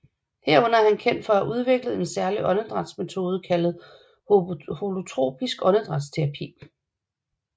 Herunder er han kendt for at have udviklet en særlig åndedrætsmetode kaldet holotropisk åndedrætsterapi